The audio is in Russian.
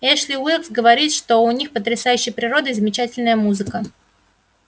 эшли уилкс говорит что у них потрясающая природа и замечательная музыка